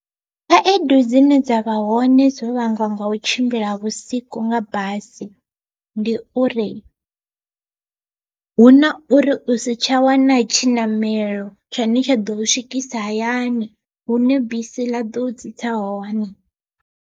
Khaedu dzine dza vha hone dzo vhangwa nga u tshimbila vhusiku nga basi, ndi uri huna uri u si tsha wana tshiṋamelo tshine tsha ḓo u swikisa hayani hune bisi ḽa ḓo u tsitsa hone.